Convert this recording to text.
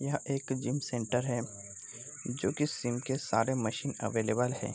यह एक gym centre है जो कि जिम के सारे मशीन अवेलेबल है ।